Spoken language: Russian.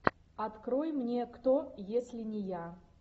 открой мне кто если не я